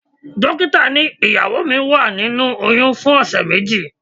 Dókítà ní ìyàwó mi wà nínú oyún fún ọ̀sẹ̀ méjì.